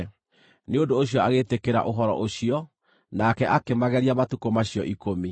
Nĩ ũndũ ũcio agĩĩtĩkĩra ũhoro ũcio, nake akĩmageria matukũ macio ikũmi.